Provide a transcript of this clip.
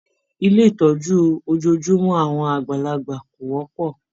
Ilé ìtọ́jú ojojúmọ́ àwọn àgbàlagbà kò wọ́pọ̀.